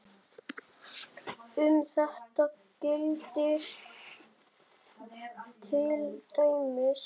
Um þetta gildir til dæmis